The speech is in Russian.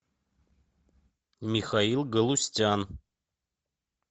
михаил галустян